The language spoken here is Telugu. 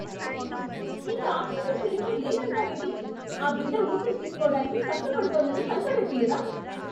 ఇంక ఆక్సిజన్ సిలిండరు లేదంటావేంటి? ఆ బిడ్డ ఊపిరి తీస్కోవటానికి కష్టపడుతోందని కనపడట్లేదా?